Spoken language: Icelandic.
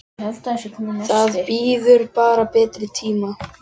Það bíður bara betri tíma.